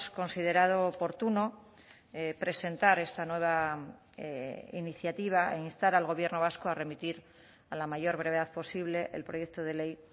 considerado oportuno presentar esta nueva iniciativa e instar al gobierno vasco a remitir a la mayor brevedad posible el proyecto de ley